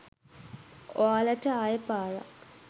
ඔයාලට ආය පාරක්